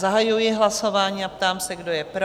Zahajuji hlasování a ptám se, kdo je pro?